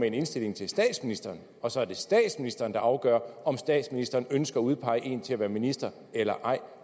en indstilling til statsministeren og så er det statsministeren der afgør om statsministeren ønsker at udpege en til at være minister eller ej